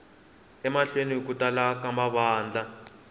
emahlweni ku tala ka mavandla